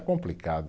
Complicado.